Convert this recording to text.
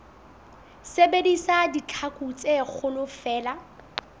sebedisa ditlhaku tse kgolo feela